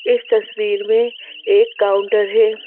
इस तस्वीर में एक काउंटर है।